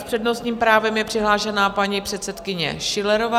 S přednostním právem je přihlášena paní předsedkyně Schillerová.